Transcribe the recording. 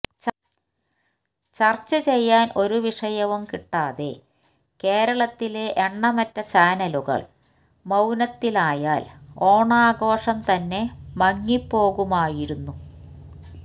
ചർച്ചചെയ്യാൻ ഒരു വിഷയവും കിട്ടാതെ കേരളത്തിലെ എണ്ണമറ്റ ചാനലുകൾ മൌനത്തിലായാൽ ഓണാഘോഷംതന്നെ മങ്ങിപ്പോകുമായിരുന്നു